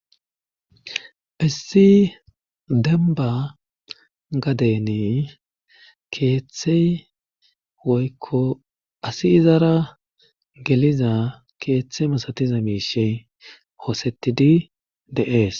issi denba gadeni keeththe woykko asi izara geliza keeththe masatiza miishshe hoosetidi de'ees